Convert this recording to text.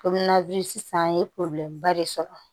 sisan i ye de sɔrɔ